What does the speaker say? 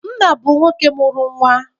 Nna bụ nwoke mụrụ nnwa